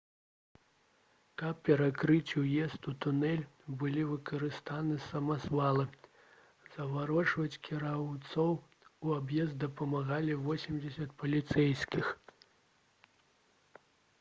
каб перакрыць уезды ў тунэль былі выкарыстаны самазвалы заварочваць кіроўцаў у аб'езд дапамагалі 80 паліцэйскіх